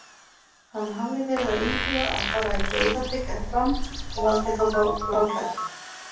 Hann hafði verið að íhuga að fara í Breiðablik eða Fram og valdi þá bláklæddu.